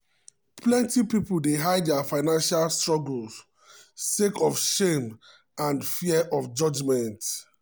plenty people dey hide dia financial struggles sake of shame um and fear of judgment.